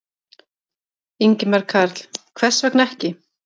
Ingimar Karl: Hvers vegna ekki?